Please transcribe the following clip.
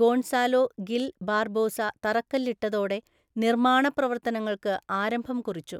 Gonzalo Gil Barbosa തറക്കല്ലിട്ടതോടെ നിർമ്മാണ പ്രവർത്തനങ്ങൾക്ക് ആരംഭം കുറിച്ചു.